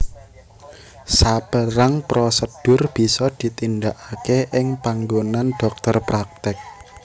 Saperang prosedur bisa ditindakake ing panggonan dhokter praktek